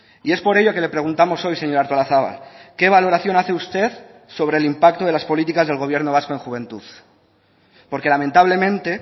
y es por ello que le preguntamos hoy señora artolazabal qué valoración hace usted sobre el impacto de las políticas del gobierno vasco en juventud porque lamentablemente